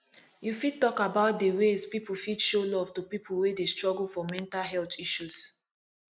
you fit talk about dey ways people fit show love to people wey dey struggle for mental health issues